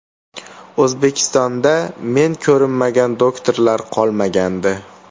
O‘zbekistonda men ko‘rinmagan doktorlar qolmagandi.